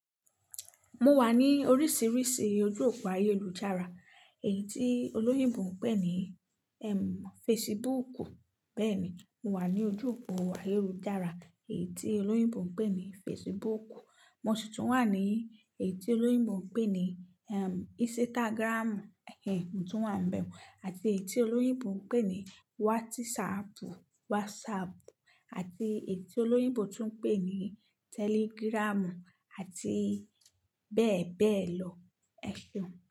Mo wà ní oríṣiríṣi ojú òpo ayélujára, èyí tí olóyìnbó ń pè ní ẹm fesibúùkù bẹ́ẹ̀ni mo wà ní ojú òpo ayélujára èyí tí olóyìnbó ń pè ní fesibúùkù. Mo sì tún wà ní èyí tí olóyìnbó ń pè ní ẹm ísítágírámù ẹ̀ mo tún wà nibẹ́ẹ̀ àti èyí tí olóyìnbó ń pè ní wátísapù WhatsApp àti èyí tí olóyìnbó tún ń pè ní tẹligírámù àti bẹ́ẹ̀ bẹ́ẹ̀ lọ ẹ̀ ń.